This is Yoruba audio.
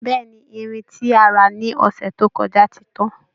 Bẹ́ẹ̀ ni, irin tí a rà ní ọ̀ṣẹ̀ tó kọja ti tán